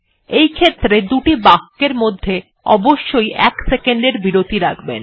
এইক্ষেত্রে দুটি বাক্যের মধ্যে অবশ্যই ১ সেকন্ড এর বিরতি রাখবেন